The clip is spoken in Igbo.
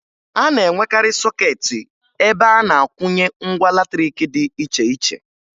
A na-enwekarị sọkeetị ebe a na-akwụnye ngwa latrịịkị dị iche iche